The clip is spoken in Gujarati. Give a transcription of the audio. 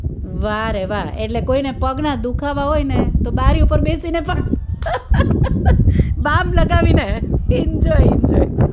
વાહ રે વાહ એટલે કોઈને પગના દુખાવા હોયને તો બારી ઉપર બેસીને પણ બામ લગાવીને enjoy enjoy